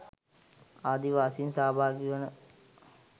ආදි වාසීන් සහභාගි වන